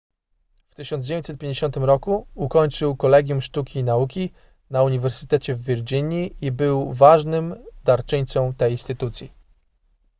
w 1950 roku ukończył kolegium sztuki i nauki na uniwersytecie w virginii i był ważnym darczyńcą tej instytucji